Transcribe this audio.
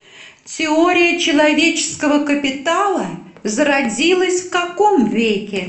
теория человеческого капитала зародилась в каком веке